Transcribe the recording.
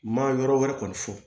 Ma yɔrɔ wɛrɛ kɔni fɔ